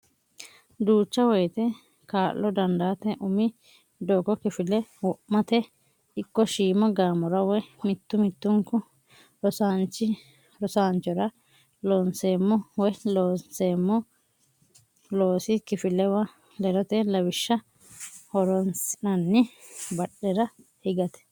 Duucha woyte kaa lo dandaate umi doogo kifile wo mate ikko shiima gaamora woy mittu mittunku rosaanchi o ra Looseemmo woy Loonseemmo loosi kifilewa ledote lawishsha horonsi nanni badhera higate.